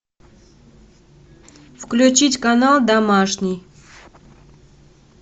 включить канал домашний